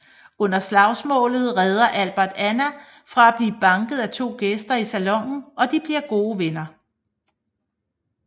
Under slagsmålet redder Albert Anna fra at blive banket af to gæster i salonen og de bliver gode venner